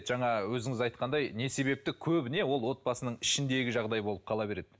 жаңа өзіңіз айтқандай не себепті көбіне ол отбасының ішіндегі жағдай болып қала береді